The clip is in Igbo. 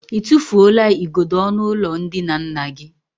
I tụfuola igodo ọnụụlọ ndina nna gị?